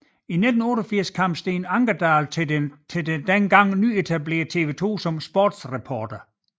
I 1988 kom Steen Ankerdal til det dengang nyetablerede TV 2 som sportsreporter